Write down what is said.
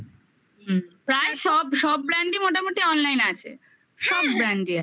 হুম প্রায় সব সব brand মোটামুটি online আছে সব brand আছে